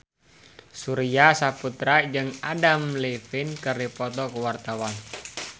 Surya Saputra jeung Adam Levine keur dipoto ku wartawan